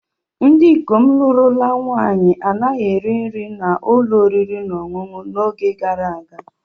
Ndị ikom lụrụla nwaanyi anaghị eri nri n'ụlọ oriri na ọṅụṅụ n'oge gara aga.